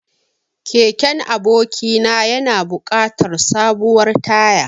Keken abokina yana buƙatar sabuwar taya.